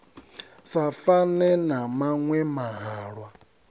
sa fane na maṅwe mahalwa